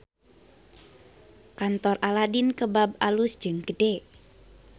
Kantor Aladin Kebab alus jeung gede